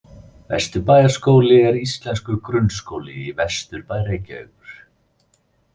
Vesturbæjarskóli er íslenskur grunnskóli í vesturbæ Reykjavíkur.